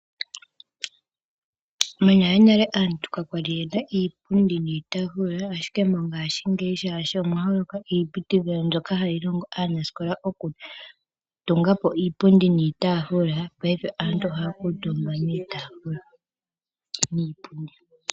Monalenale aantu kakwali yena iipundi niitaafula, ashike mongaashingeyi shaashi omwa holoka iiputudhilo mbyoka hayi longo aanasikola okutunga po iipundi niitaafula paife aantu ohaya kuutumba kiipundi niitaafula.